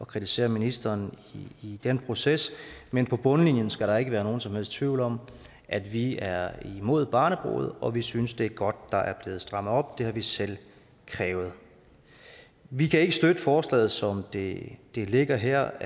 kritisere ministeren i den proces men på bundlinjen skal der ikke være nogen som helst tvivl om at vi er imod barnebrude og at vi synes det er godt der er blevet strammet op det har vi selv krævet vi kan ikke støtte forslaget som det det ligger her